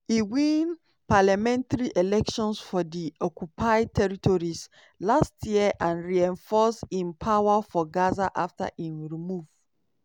e win parliamentary elections for di occupied territories last year and reinforce im power for gaza afta e remove